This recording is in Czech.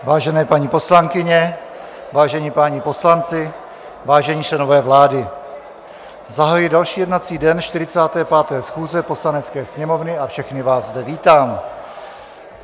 Vážené paní poslankyně, vážení páni poslanci, vážení členové vlády, zahajuji další jednací den 45. schůze Poslanecké sněmovny a všechny vás zde vítám.